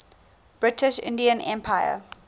british indian empire